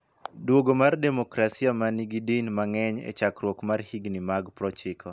Dwogo mar demokrasia ma nigi Din mang�eny e chakruok mar higni mag 90.